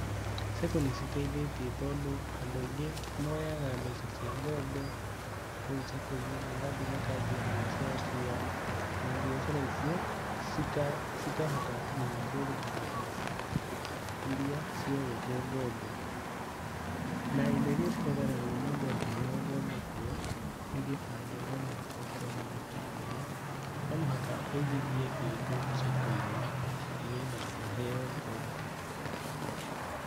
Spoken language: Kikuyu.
Sacco nĩciteithĩtie tondũ andũ aingĩ moyaga mbeca cia ngombo kũu sacco-inĩ magathi makanjia mbiacara ciao na mbiacara icio cikahota nginya kwĩrĩhĩra mbeca iria cioetwo ngombo. Na indo iria cibataranagia mũndũ angĩheo ngombo kuo, nĩ gĩbandĩ, no mũhaka ũkorwo na gĩbandĩ, no mũhaka ũigithie kĩndũ sacco-inĩ nĩgetha ũheo ngombo.